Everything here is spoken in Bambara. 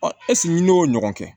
ɛseke n'i y'o ɲɔgɔn kɛ